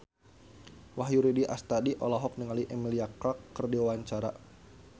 Wahyu Rudi Astadi olohok ningali Emilia Clarke keur diwawancara